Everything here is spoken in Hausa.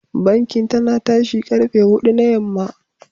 Bankin tana tashi karfe hudu na yamma.